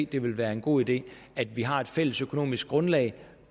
det være en god idé at vi har et fælles økonomisk grundlag